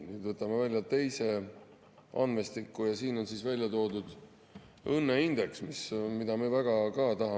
Nii, võtame välja teise andmestiku ja siin on välja toodud õnneindeks, mille puhul me tahame.